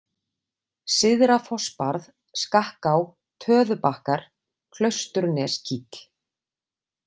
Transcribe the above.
Syðrafossbarð, Skakká, Töðubakkar, Klausturneskíll